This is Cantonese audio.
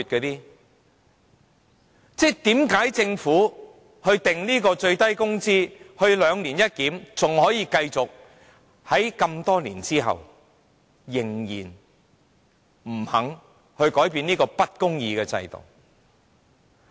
為何政府訂立最低工資時實施的"兩年一檢"仍然可以繼續，在這麼多年之後仍然不肯改變這個不公義的制度？